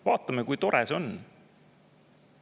Vaatame, kui tore see on!